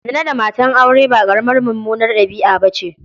Zina da matan aure ba ƙaramar mummunar ɗabi'a ba ce.